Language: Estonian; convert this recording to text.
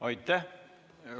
Aitäh!